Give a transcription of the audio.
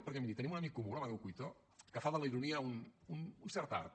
perquè miri tenim un amic comú l’amadeu cuito que fa de la ironia un cert art